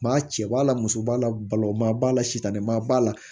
Maa cɛ b'a la muso b'a la balo ma b'a la sitanɛma b'a la